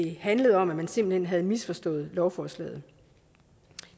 handlede om at man simpelt hen havde misforstået lovforslaget